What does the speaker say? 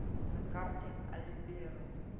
на карте альберо